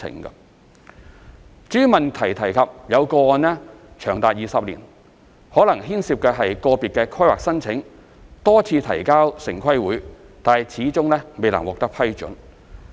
至於質詢提及有個案長達20年，可能牽涉個別規劃申請多次提交城規會但始終未獲批准。